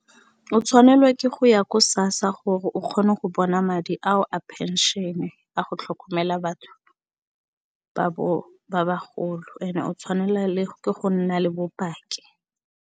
O tshwanelwa ke go ya ko SASSA gore o kgone go bona madi ao a phenšene a go tlhokomela batho ba bagolo ene o tshwanela ke go nna le bopaki.